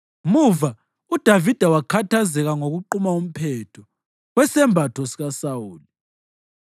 Muva uDavida wakhathazeka ngokuquma umphetho wesembatho sikaSawuli.